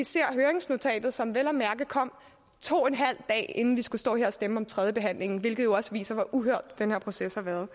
ser høringsnotatet som vel at mærke kommer to en halv dage inden vi skal stå her og stemme ved tredjebehandlingen hvilket jo også viser hvor uhørt den her proces har været